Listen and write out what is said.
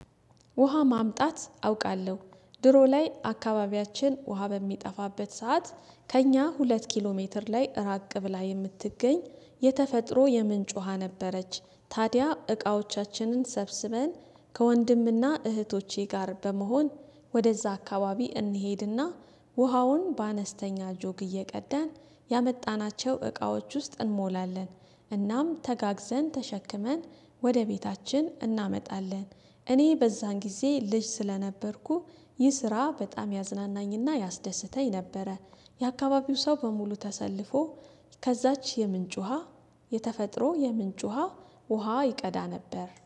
ውሃ ማምጣት አውቃለሁ ድሮ ላይ አካባቢያችን ውሃ በሚጠፋበት ሰዓት ከእኛ ሁለት ኪሎ ሜትር ላይ ራቅ ብላ የምትገኝ የተፈጥሮ የምንጭ ውሃ ነበረች። ታዲያ እቃዎቻችንን ሰብስበን ከወንድምና እህቶቼ ጋር በመሆን ወደ እዛ አካባቢ እንሄድና ውሃውን በአነስተኛ ጆግ እየቀዳን ያመጣናቸው እቃዎች ውስጥ እንሞላለን። እናም ተጋግዘን ተሸክመን ወደ ቤታችን እናመጣለን። እኔ በዛን ጊዜ ልጅ ስለነበርኩ ይህ ስራ በጣም ያዝናናኝና ያስደስተኝ ነበረ። የአካባቢው ሰው በሙሉ ተሰልፎ ከዛች የምንጭ ውሃ የተፈጥሮ የምንጭ ውሃ ውሃ ይቀዳ ነበር